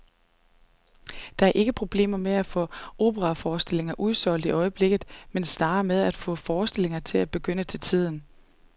Der er ikke problemer med at få operaforestillinger udsolgt i øjeblikket, men snarere med at få forestillingerne til at begynde til tiden.